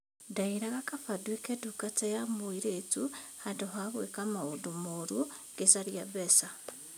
Ndeĩraga kaba ndũĩke ndungata ya mũirĩtu handũ ha gũĩka maũndũ moru ngĩcaria mbeca.